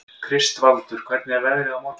Kristvaldur, hvernig er veðrið á morgun?